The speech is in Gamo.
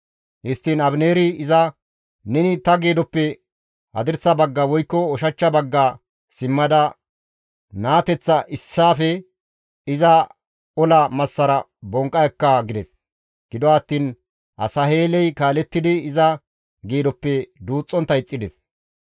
Histtiin Abineeri iza, «Neni ta geedoppe hadirsa bagga woykko ushachcha bagga simmada naateth issaafe iza ola massara bonqqa ekka» gides. Gido attiin Asaheeley kaalettidi iza geedoppe duuxxontta ixxides.